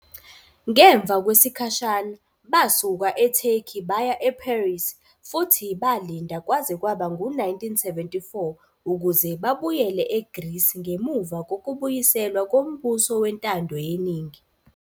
Ngemva kwesikhashana, basuka eTurkey baya eParis futhi balinda kwaze kwaba ngu-1974 ukuze babuyele eGreece ngemuva kokubuyiselwa kombuso wentando yeningi.